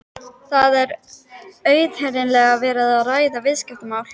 Það er auðheyrilega verið að ræða viðskiptamál.